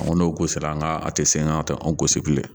Ko n'o ko sera an ka a te sen ŋa tɛ an gosi bilen